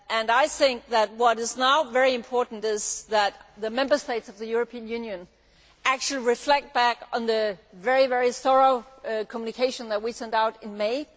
I think that what is now very important is for the Member States of the European Union to reflect back on the very thorough communication that we sent out in May.